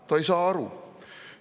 Ta ei saa aru!